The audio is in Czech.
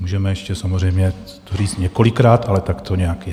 Můžeme ještě samozřejmě to říct několikrát, ale tak to nějak je.